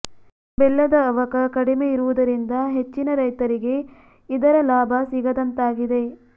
ಬೆಲ್ಲದ ಅವಕ ಕಡಿಮೆ ಇರುವುದರಿಂದ ಹೆಚ್ಚಿನ ರೈತರಿಗೆ ಇದರ ಲಾಭ ಸಿಗದಂತಾಗಿದೆ